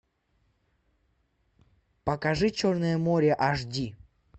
покажи черное море аш ди